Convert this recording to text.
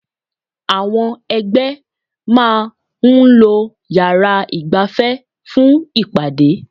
Àwọn ẹgbẹ́ máa ń lo yàrá ìgbafẹ́ fún ìpàdé.